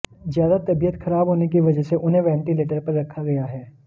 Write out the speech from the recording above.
ज्यादा तबीयत खराब होने की वजह से उन्हें वेंटिलेटर पर रखा गया है